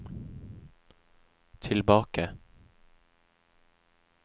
tilbake